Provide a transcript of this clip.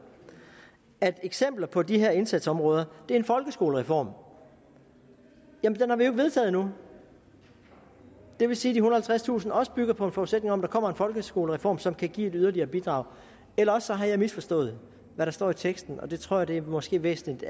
at eksempler på de her indsatsområder er en folkeskolereform jamen den har vi jo ikke vedtaget endnu det vil sige at og halvtredstusind også bygger på en forudsætning om at der kommer en folkeskolereform som kan give et yderligere bidrag eller også har jeg misforstået hvad der står i teksten jeg tror at det måske er væsentligt